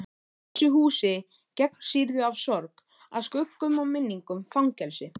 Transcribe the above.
Þessu húsi gegnsýrðu af sorg, af skuggum og minningum- fangelsi.